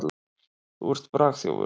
Þú ert bragþjófur.